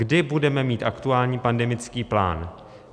Kdy budeme mít aktuální pandemický plán?